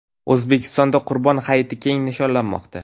O‘zbekistonda Qurbon hayiti keng nishonlanmoqda.